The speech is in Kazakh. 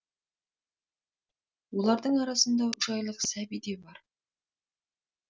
олардың арасында үш айлық сәби де бар